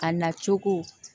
A na cogo